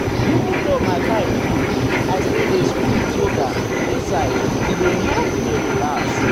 even though my time full i still dey squeeze um yoga inside e dey help me relax. um